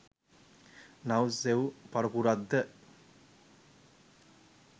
නව සෙව් පරපුරක් ද